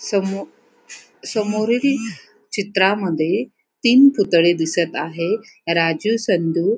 समो समोरील चित्रामध्ये तीन पुतळे दिसत आहे. राजू संदू --